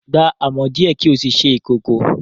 Gba amọ̀ díẹ̀ kí o sì ṣe ìkòkò